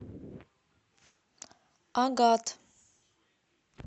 агат